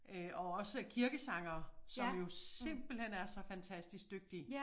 Øh og også kirkesangere som jo simpelthen er så fantastisk dygtige